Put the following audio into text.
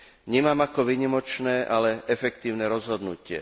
vnímam ako výnimočné, ale efektívne rozhodnutie.